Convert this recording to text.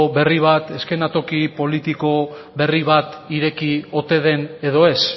berri bat eskenatoki politiko berri bat ireki ote den edo ez